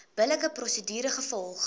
billike prosedure gevolg